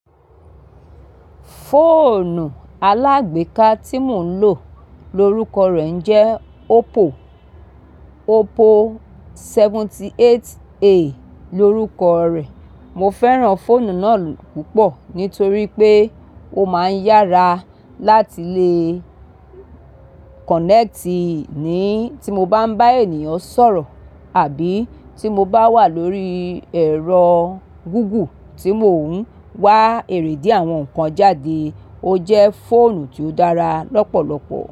Fóònù alágbèéká tí mò ń lò lórúkọ rẹ̀ ń jẹ́ Oppo, Oppo seventy eight A lórúkọ rẹ̀. Mo fẹ́ràn fóònù náà púpọ̀ nítorí pé ó máa ń yára láti le kọ̀nẹ́ẹ́tì ní tí mo bá ń bá ènìyàn sọ̀rọ̀ àbí tí mo bá wà lórí ẹ̀rọ Google tí mò ń wá èrèdí àwọn nǹkan jáde. Ó jẹ́ fóònù tí ó dára lọ́pọ̀lọpọ̀